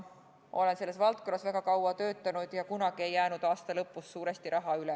Olen selles valdkonnas väga kaua töötanud ja tean, et kunagi ei jäänud aasta lõpus suuresti raha üle.